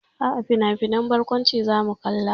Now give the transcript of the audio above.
A'a, finafinan barkwanci zamu kalla.